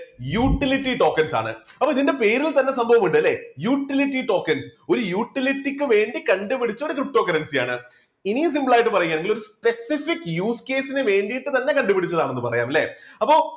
utility tokens ആണ് അപ്പോ ഇതിൻറെ പേരിൽ തന്നെ സംഭവം ഉണ്ട് അല്ലേ utility tokens ഒരു utility ക്ക് വേണ്ടി കണ്ടുപിടിച്ച ptocurrency ആണ് ഇനിയും simple ആയിട്ട് പറയുകയാണെങ്കിൽ specific users ന് വേണ്ടിയിട്ട് തന്നെ കണ്ടുപിടിച്ചതാണെന്ന് പറയാം അല്ലേ? അപ്പൊ